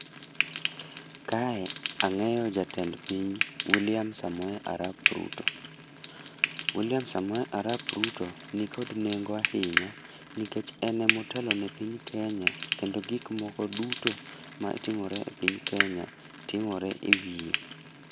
Kae angéyo jatend piny, William Samoei Arap Ruto. William Samoei Arap Ruto ni kod nengo ahinya, nikech en ema otelo ne piny Kenya, kendo gik moko duto ma timore e piny Kenya timore e wiye.